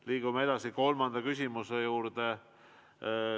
Liigume edasi kolmanda küsimuse juurde.